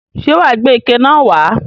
Ṣé wà á gbé ike náà wà á?